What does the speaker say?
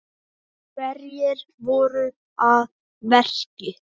Hverjir voru að verki?